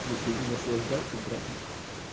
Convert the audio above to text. слушай и наслаждайся брат мой